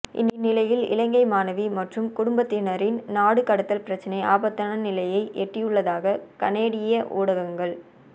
இந்நிலையில் இலங்கை மாணவி மற்றும் குடும்பத்தினரின் நாடு கடத்தல் பிரச்சினை ஆபத்தான நிலையை எட்டியுள்ளதாக கனேடிய ஊடகங்கள்